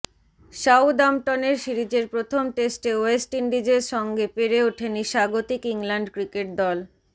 সাউদাম্পটনের সিরিজের প্রথম টেস্টে ওয়েস্ট ইন্ডিজের সঙ্গে পেরে ওঠেনি স্বাগতিক ইংল্যান্ড ক্রিকেট দল